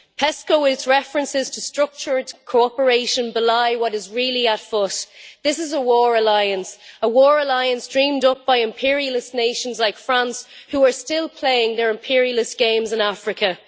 PESCO and its references to structured cooperation belie what is really afoot this is a war alliance a war alliance dreamed up by imperialist nations like France who are still playing their imperialist games in Africa.